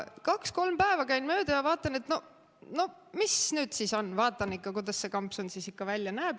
Kaks-kolm päeva käin mööda ja vaatan, et noh, mis nüüd on, vaatan, kuidas see kampsun ikka välja näeb.